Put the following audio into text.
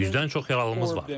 100-dən çox yaralımız var.